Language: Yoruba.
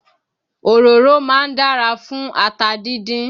Òróró máa ń dára fún ata díndín